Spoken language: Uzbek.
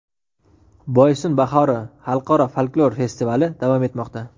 "Boysun bahori" xalqaro folklor festivali davom etmoqda.